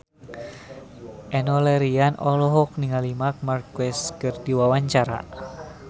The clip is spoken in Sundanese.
Enno Lerian olohok ningali Marc Marquez keur diwawancara